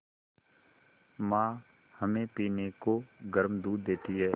माँ हमें पीने को गर्म दूध देती हैं